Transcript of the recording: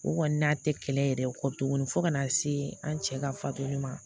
O kɔni n'a tɛ kɛlɛ yɛrɛ kɔ tuguni fo ka na se an cɛ ka fatuma